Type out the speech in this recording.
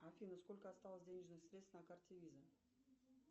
афина сколько осталось денежных средств на карте виза